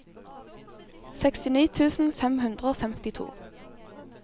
sekstini tusen fem hundre og femtito